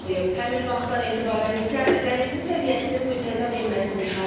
Həmin vaxtdan etibarən isə dənizin səviyyəsinin müntəzəm enməsi müşahidə olunur.